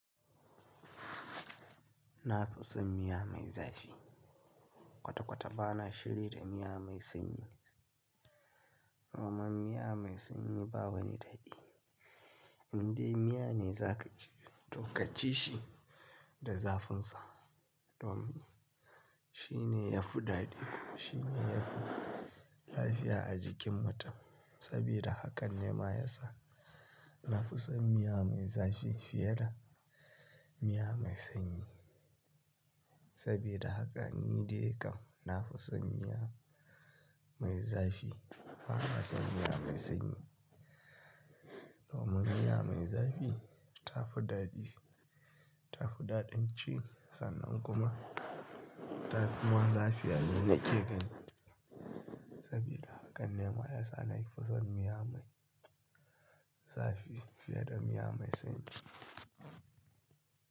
Nafi san miya mai zafi kwata-kwata ba na shiri da miya mai sanyi. Kuma miya mai sanyi ba wani daɗi. Indai miya ne za ka ci, to ka ci shi da zafin sa. Don shi ne ya fi daɗi. Shi ne ya fi lafiya a jikin mutum. Saboda hakan ne ma ya sa nafi san miya mai zafi fiye da miya mai sanyi. Saboda haka ni dai kam nafi san miya mai zafi fiye da miya mai sanyi. Domin miya mai zafi ta fi daɗi. Ta fi daɗin ci sannan kuma ta fi ma lafiya. Ni na ce gani. Saboda haka ne ma ya sa nafusan miya mai zafi fiye da miya mai sanyi.